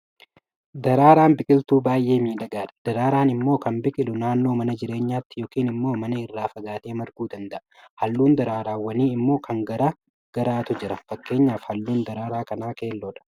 Daraaraan biqiltuu baay'ee miidhagaadha. Daraaraan immoo kan biqilu naannoo mana jireenyaatti yookiin immoo mana irraa fagaatee marguu danda'a. Halluun daraaraawwanii immoo kan gara gargaarutu jira. Fakkeenyaaf halluun daraaraa kanaa keelloofha.